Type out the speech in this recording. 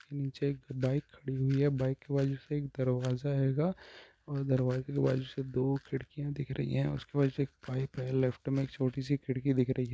निचे एक बाइक खड़ी हुई है बाइक के बाजु से एक दरवाजा हेगा और दरवाजे के बाजु से दो खिड़कियां दिख रही हैं उसके बाजु से एक पाइप है लेफ्ट में एक छोटी सी खिड़की दिख रही है।